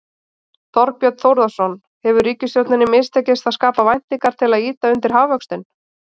Þorbjörn Þórðarson: Hefur ríkisstjórninni mistekist að skapa væntingar til að ýta undir hagvöxtinn?